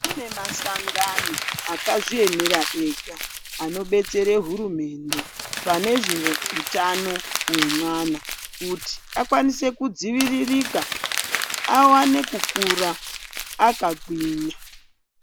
Kune masango akazviemera ega anodetsera hurumende panezveutano hwemwana kuti akwanise kudziviririka awane kukura akagwinya.